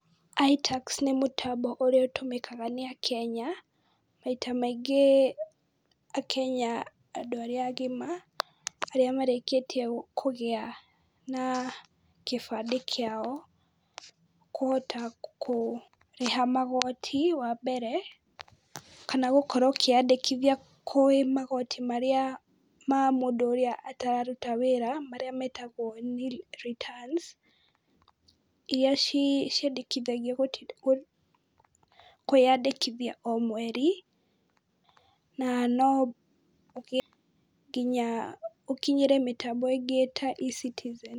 iTax nĩ mũtambo ũrĩa ũtũmĩkaga nĩ akenya, maita maingĩ akenya andũ arĩa agima, arĩa marĩkĩtie kũgĩa na kĩbandĩ kĩao, kũhota kũrĩha magoti wa mbere, kana gũkorwo ũkiandĩkithia kwĩ magoti marĩa ma mũndũ ũrĩa atararuta wĩra, marĩa metagwo nil returns, iria ciandĩkithagio kwĩyandĩkithia o mweri na no ugĩe nginya ũkinyĩre mĩtambo ĩngĩ ta eCitizen.